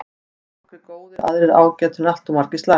Nokkrir mjög góðir aðrir ágætir en alltof margir slakir.